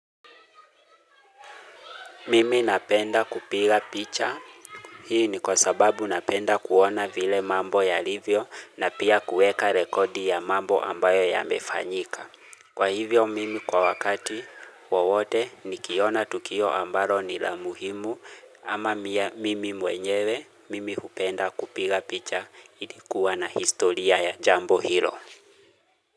Mimi napenda kupiga picha. Hii ni kwa sababu napenda kuona vile mambo yalivyo na pia kuweka rekodi ya mambo ambayo yamefanyika. Kwa hivyo mimi kwa wakati wowote nikiona tukio ambalo ni la muhimu ama mimi mwenyewe mimi kupenda kupiga picha ili kuwa na historia ya Jambo Hilo.